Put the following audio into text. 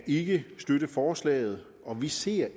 ikke støtte forslaget og vi ser